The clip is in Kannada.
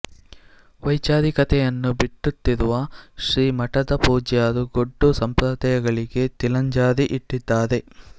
ವೈಚಾರಿಕತೆಯನ್ನು ಬಿತ್ತುತ್ತಿರುವ ಶ್ರೀ ಮಠದ ಪೂಜ್ಯರು ಗೊಡ್ಡು ಸಂಪ್ರದಾಯಗಳಿಗೆ ತಿಲಾಂಜಲಿ ಇಟ್ಟಿದ್ದಾರೆ